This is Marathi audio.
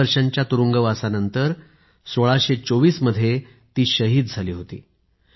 दहा वर्षांच्या तुरुंगवासानंतर १६२४ मध्ये ती शहीद झाली होती